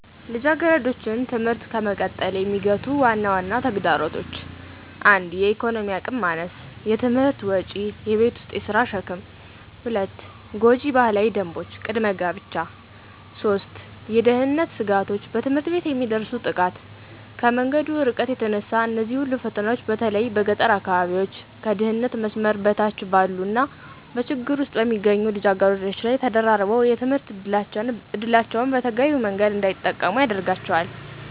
ልጃገረዶችን ትምህርት ከመቀጠል የሚገቱ ዋና ዋና ተግዳሮቶች 1. የኢኮኖሚ አቅም ማነስ * የትምህርት ወጪ: * የቤት ውስጥ የሥራ ሸክም: 2. ጎጂ ባህላዊ ደንቦች * ቅድመ ጋብቻ 3. የደህንነት ስጋቶች * በትምህርት ቤት የሚደርስ ጥቃት: ከመንገዱ እርቀት የተነሳ እነዚህ ሁሉ ፈተናዎች በተለይ በገጠር አካባቢዎች፣ ከድህነት መስመር በታች ባሉ እና በችግር ውስጥ በሚገኙ ልጃገረዶች ላይ ተደራርበው የትምህርት ዕድላቸውን በተገቢው መንገድ እንዳይጠቀሙ ያደርጋቸዋል።